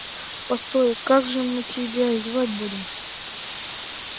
постой как же мы тебя звать будем